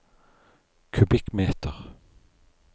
kubikkmeter